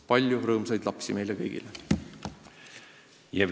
Palju rõõmsaid lapsi meile kõigile!